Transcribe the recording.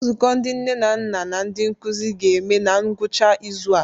Nzukọ ndị nne na nna na ndi nkuzi ga-eme na ngwụcha izu a.